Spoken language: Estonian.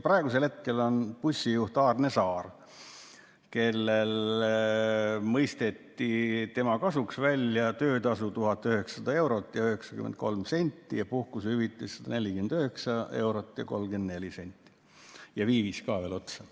Bussijuht Aarne Saare kasuks mõisteti välja töötasu 1900 eurot ja 93 senti ning puhkusehüvitis 149 eurot ja 34 senti, viivis ka veel otsa.